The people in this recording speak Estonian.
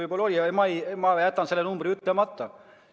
Igaks juhuks jätan selle numbri ütlemata.